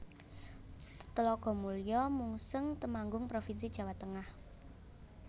Tlogomulyo Mungseng Temanggung provinsi Jawa Tengah